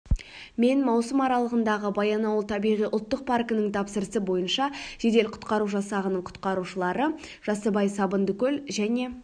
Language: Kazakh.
мен маусым аралығында баянауыл табиғи ұлттық паркінің тапсырысы бойынша жедел-құтқару жасағының құтқарушылары жасыбай сабындыкөл және